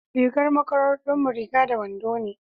rigar makarantar mu riga da wando ne